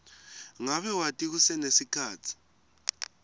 ngabe wati kusenesikhatsi